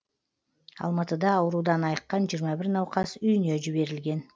алматыда аурудан айыққан жиырма бір науқас үйіне жіберілген